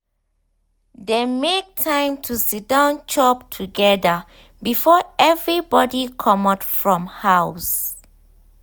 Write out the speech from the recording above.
dem make time to siddon chop together before everybody comot from house.